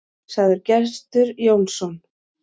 Sagði Gestur Jónsson.